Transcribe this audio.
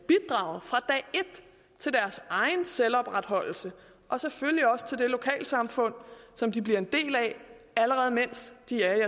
til deres egen selvopretholdelse og selvfølgelig også til det lokale samfund som de bliver en del af allerede mens de er